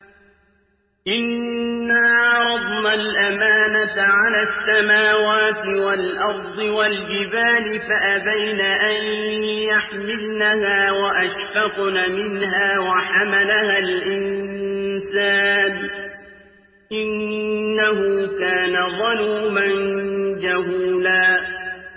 إِنَّا عَرَضْنَا الْأَمَانَةَ عَلَى السَّمَاوَاتِ وَالْأَرْضِ وَالْجِبَالِ فَأَبَيْنَ أَن يَحْمِلْنَهَا وَأَشْفَقْنَ مِنْهَا وَحَمَلَهَا الْإِنسَانُ ۖ إِنَّهُ كَانَ ظَلُومًا جَهُولًا